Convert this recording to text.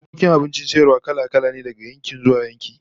Bukkokin abincin sayarwa kala-kala ne daga yankin zuwa yanki